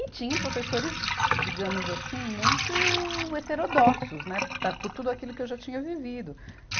E tinham professores, digamos assim, muito heterodoxos, né, para, por tudo aquilo que eu já tinha vivido.